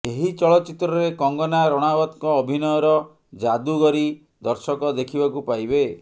ଏହି ଚଳଚିତ୍ରରେ କଙ୍ଗନା ରଣାୱତଙ୍କ ଅଭିନୟର ଜାଦୁଗରୀ ଦର୍ଶକ ଦେଖିବାକୁ ପାଇବେ